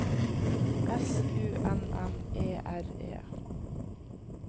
S U N N E R E